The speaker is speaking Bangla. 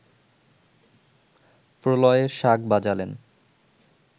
প্রলয়ের শাঁখ বাজালেন